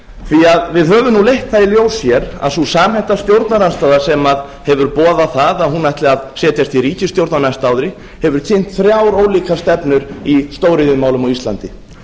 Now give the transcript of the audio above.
umræðna við höfum nú leitt það í ljós hér að sú samhenta stjórnarandstaða sem hefur boðað að hún ætli að setjast í ríkisstjórn á næsta ári hefur kynnt þrjár ólíkar stefnur í stóriðjumálum á íslandi